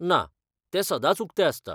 ना, तें सदांच उक्तें आसता.